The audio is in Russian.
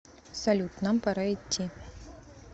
салют нам пора идти